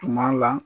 Tuma la